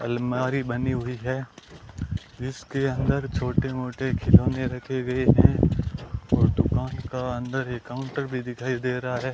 अलमारी बनी हुई है इसके अंदर छोटे मोटे खिलौने रखे गए है और दुकान का अंदर एक काउंटर भी दिखाई दे रहा है।